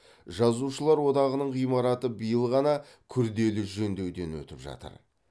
жазушылар одағының ғимараты биыл ғана күрделі жөндеуден өтіп жатыр